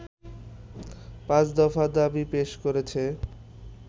পাঁচ দফা দাবি পেশ করেছে